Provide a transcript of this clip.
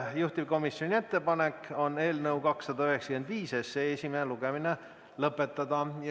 Juhtivkomisjoni ettepanek on eelnõu 295 esimene lugemine lõpetada.